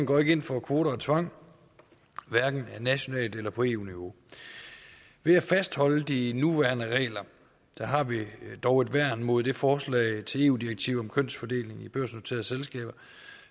går ind for kvoter og tvang hverken nationalt eller på eu niveau ved at fastholde de nuværende regler har vi dog et værn mod det forslag til eu direktiv om kønsfordelingen i børsnoterede selskaber